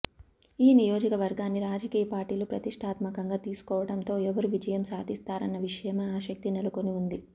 ఈ నియోజకవర్గాన్ని రాజకీయ పార్టీలు ప్రతిష్ఠాత్మకంగా తీసుకోవడంతో ఎవరు విజయం సాధిస్తారన్న విషయమై ఆసక్తి నెలకొనివుంది